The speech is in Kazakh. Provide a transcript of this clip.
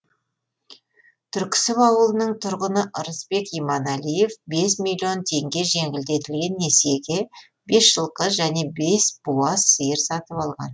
түрксіб ауылының тұрғыны ырысбек иманалиев бес миллион теңге жеңілдетілген несиеге бес жылқы және бес буаз сиыр сатып алған